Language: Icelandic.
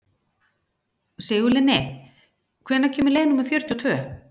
Sigurlinni, hvenær kemur leið númer fjörutíu og tvö?